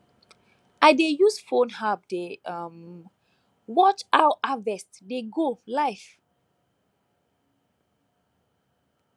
i dey use phone app dey um watch how harvest dey go live